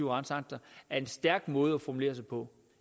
retsakter er en stærk måde at formulere sig på